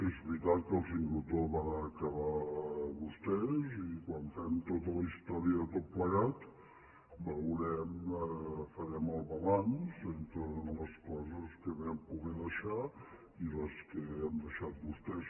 és veritat que el sincrotró el van acabar vostès i quan fem tota la història de tot plegat farem el balanç entre les coses que vam poder deixar i les que han deixat vostès